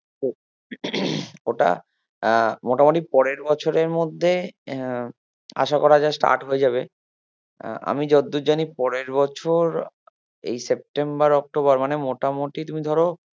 ওটা আহ মোটামুটি পারে র বছরের মধ্যে আহ আসা করা যায় start হয়ে যাবে আহ আমি যতদূর জানি পরের বছর এই september october মানে মোটামুটি তুমি ধরো